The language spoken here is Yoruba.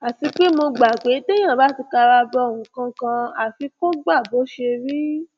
àti pé mo gbà pé téèyàn bá ti kara bọ nǹkan kan àfi kó gbà bó bá ṣe rí